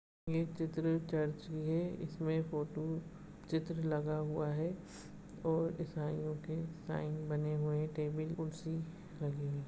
ये चित्र चर्च की है इसमें फोटो चित्र लगा हुआ है और ईसाई यों के साइन बने हुए हैं टेबल कुर्सी लगे हैं।